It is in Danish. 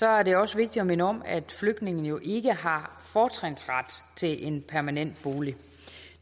er det også vigtigt at minde om at flygtningene jo ikke har fortrinsret til en permanent bolig